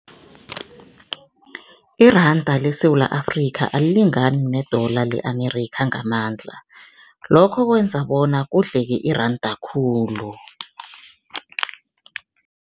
Iranda leSewula Afrika alilingani ne-dollar le-Amerikha ngamandla lokho kwenza bona kudleke iranda khulu.